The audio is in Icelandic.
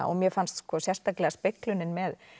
og mér fannst sérstaklega speglunin með